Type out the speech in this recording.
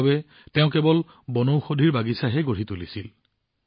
ইয়াৰ বাবে তেওঁ কেৱল বনৌষধিৰ বাগিচাহে বনাইছিল